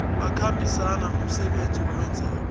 akhambisana nomsebenzi awenzako